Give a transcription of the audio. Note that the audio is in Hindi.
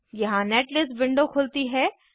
यहाँ नेटलिस्ट विंडो खुलती है